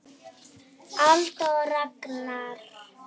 Alda og Ragnar.